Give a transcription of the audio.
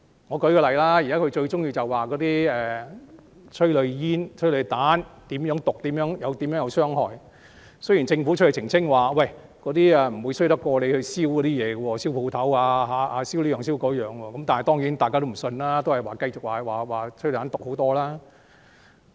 我舉個例子，他們現在最喜歡指催淚煙、催淚彈有多毒、有多大傷害，雖然政府已澄清，催淚煙不會比他們燒商鋪或各種物品所產生的毒害差，但大家當然不相信，只是繼續說催淚彈更毒。